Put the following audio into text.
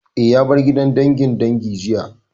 Eh, ya bar gidan dangin dangi jiya